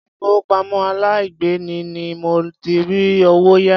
Ilé ìfowópamọ́ aláìgbèlé ni mo ti rí owó yá.